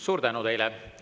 Suur tänu teile!